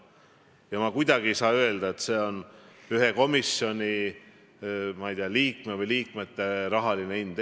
Ja ma kuidagi ei saa öelda, et see on ühe komisjoni liikmete rahaline hind.